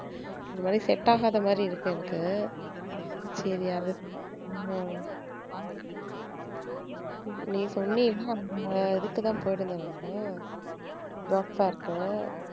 ஒரு மாதிரி set ஆகாத மாதிரி இருக்கு எனக்கு அஹ் நீ அந்த இதுக்கு தான் போயிருந்தன் நானு job fair க்கு